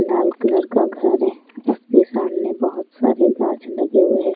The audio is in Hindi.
लाल कलर का घर है उसके सामने बहुत सारे काँच लगे हुए हैं।